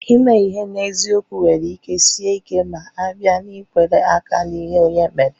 Ime ihe n'eziokwu nwere ike Sie ike ma a bịa n'ikwere aka n'ihe Onye méré